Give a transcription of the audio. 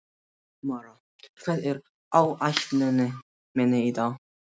Mara, hvað er á áætluninni minni í dag?